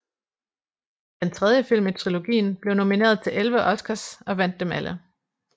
Den tredje film i trilogien blev nomineret til 11 oscars og vandt dem alle